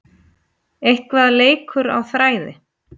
Eitthvað leikur á þræði